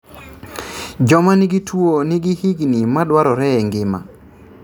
Joma nigi tuo nigi higni madwarore e ngima